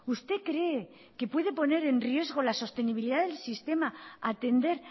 usted cree que puede poner en riesgo la sostenibilidad del sistema atender